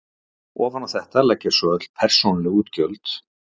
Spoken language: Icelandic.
Ofan á þetta leggjast svo öll persónuleg útgjöld.